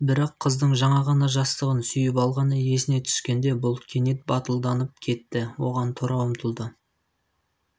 бірақ қыздың жаңа ғана жастығын сүйіп алғаны есіне түскенде бұл кенет батылданып кетті оған тұра ұмтылды